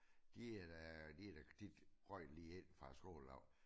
De er da de da de røg lige ind fra skole af